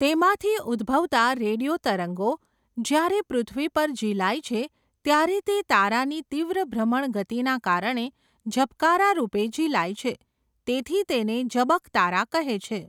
તેમાંથી ઉદ્ભવતા રેડિયો તરંગો, જ્યારે પૃથ્વી પર ઝીલાય છે ત્યારે તે તારાની તીવ્ર ભ્રમણ ગતિના કારણે, ઝબકારા રૂપે ઝીલાય છે, તેથી તેને ઝબકતારા કહે છે.